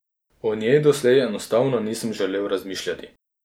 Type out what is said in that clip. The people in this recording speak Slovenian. O njej doslej enostavno nisem želel razmišljati.